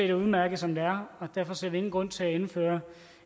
er udmærket som det er og derfor ser vi ingen grund til at indføre